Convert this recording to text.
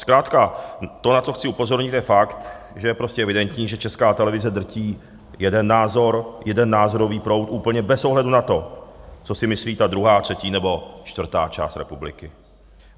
Zkrátka to, na to chci upozornit, je fakt, že je prostě evidentní, že Česká televize drží jeden názor, jeden názorový proud úplně bez ohledu na to, co si myslí ta druhá, třetí nebo čtvrtá část republiky.